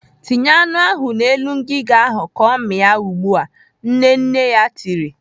"Tinye anụ ahụ n'elu ngiga ahụ ka ọ mịa ugbu a!" Nne nne ya tiri.